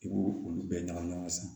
I b'o olu bɛɛ ɲagami ɲɔgɔn na sisan